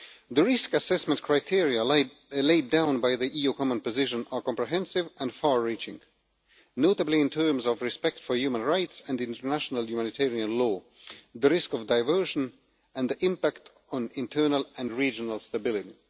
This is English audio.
The risk assessment criteria laid down by the EU common position are comprehensive and far reaching, notably in terms of respect for human rights and international humanitarian law, the risk of diversion and the impact on internal and regional stability.